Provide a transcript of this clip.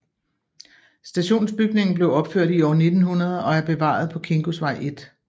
Stationsbygningen blev opført i år 1900 og er bevaret på Kingosvej 1